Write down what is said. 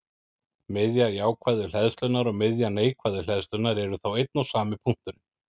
Miðja jákvæðu hleðslunnar og miðja neikvæðu hleðslunnar eru þá einn og sami punkturinn.